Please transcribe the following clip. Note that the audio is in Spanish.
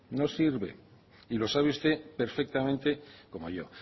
no sirve y lo sabe usted perfectamente como yo